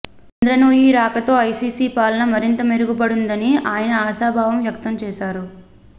ఇంద్రా నూయి రాకతో ఐసీసీ పాలన మరింత మెరుగుపడుతుందని ఆయన ఆశాభావం వ్యక్తం చేశారు